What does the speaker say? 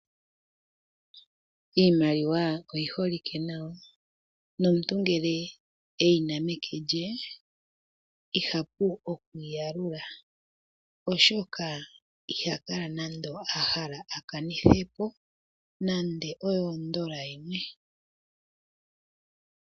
Iimaliwa oyi holike nawa, nomuntu ngele eyina meke lye, ihapu oku yalula, oshoka iha kala nando ahala a kanithepo nando oyo ondola yimwe.